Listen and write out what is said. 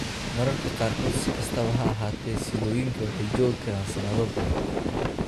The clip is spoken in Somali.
Mararka qaarkood, si kastaba ha ahaatee, siddooyinku waxay joogi karaan sanado badan.